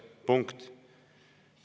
Punkt.